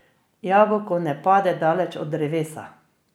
Jabolko ne pade daleč od drevesa.